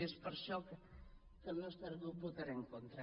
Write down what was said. i és per això que el nostre grup votarà en contra